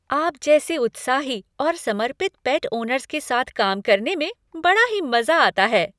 आप जैसे उत्साही और समर्पित पेट ओनर्स के साथ काम करने में बड़ा ही मज़ा आता है।